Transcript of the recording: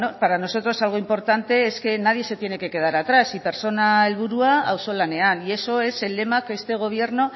para nosotros algo importante es que nadie se tiene que quedar atrás sí pertsona helburu auzolanean y eso es el lema que este gobierno